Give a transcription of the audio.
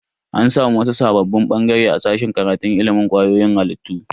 An samu wasu sabbin bangare a sashen karatun ilimin kwayoyin halittu.